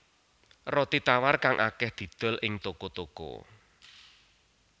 Roti tawar kang akèh didol ing toko toko